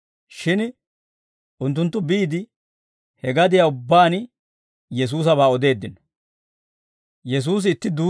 Shin unttunttu biide, he gadiyaa ubbaan Yesuusabaa odeeddino.